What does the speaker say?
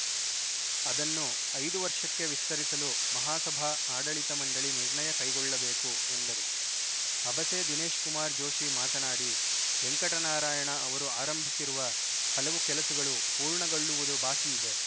ಅದನ್ನು ಐದು ವರ್ಷಕ್ಕೆ ವಿಸ್ತರಿಸಲು ಮಹಾಸಭಾ ಆಡಳಿತ ಮಂಡಳಿ ನಿರ್ಣಯ ಕೈಗೊಳ್ಳಬೇಕು ಎಂದರು ಅಬಸೆ ದಿನೇಶ್‌ಕುಮಾರ್‌ ಜೋಷಿ ಮಾತನಾಡಿ ವೆಂಕಟ ನಾರಾಯಣ ಅವರು ಆರಂಭಿಸಿರುವ ಹಲವು ಕೆಲಸಗಳು ಪೂರ್ಣಗೊಳ್ಳುವುದು ಬಾಕಿ ಇದೆ